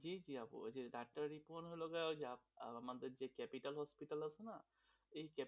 জী জী আপু ডাক্তার রিপনের লগে আর আমাদের যে ক্যাপিটাল hospital আছে না, তো সেই,